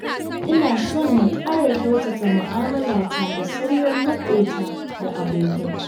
Ina son na ƙara kyautata mu'amalata da sauran maƙota da abokai.